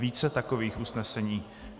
Více takových usnesení.